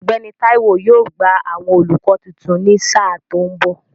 Ọ̀gbẹ́ni Táíwó yóò gba àwọn olùkọ́ tuntun ní sà tó ń bọ̀